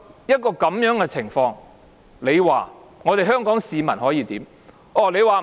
面對這樣的情況，香港市民可以怎麼辦呢？